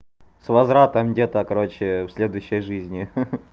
с возвратом где-то короче в следующей жизни ха-ха